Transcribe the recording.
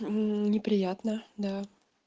неприятно да